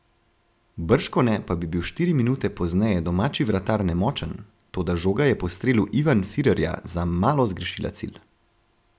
Bržkone pa bi bil štiri minute pozneje domači vratar nemočen, toda žoga je po strelu Ivan Firerja za malo zgrešila cilj.